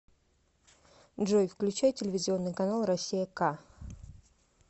джой включай телевизионный канал россия к